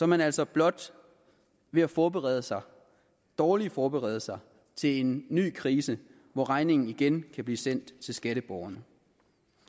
man altså blot ved at forberede sig og dårligt forberede sig til en ny krise hvor regningen igen kan blive sendt til skatteborgerne